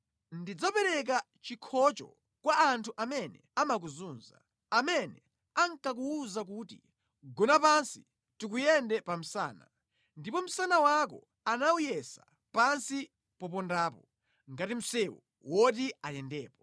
Ndidzapereka chikhocho kwa anthu amene amakuzunza, amene ankakuwuza kuti, ‘gona pansi tikuyende pa msana.’ Ndipo msana wako anawuyesa pansi popondapo, ngati msewu woti ayendepo.”